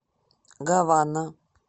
гавана